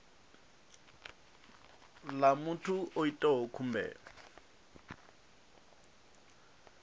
ḽa muthu a itaho khumbelo